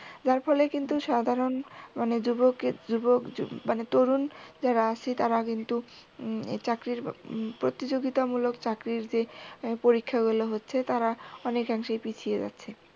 যার ফলে কিন্তু সাধারণ মানে যুবকের যুবক মানে তরুন যারা আছে তারা কিন্তু চাকরির প্রতিযোগিতামূলক চাকরির যে পরীক্ষাগুলো হচ্ছে তারা অনেকাংশেই পিছিয়ে যাচ্ছে